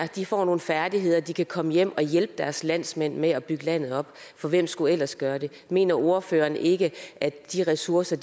får nogle færdigheder og de kan komme hjem og hjælpe deres landsmænd med at bygge landet op for hvem skulle ellers gøre det mener ordføreren ikke at de ressourcer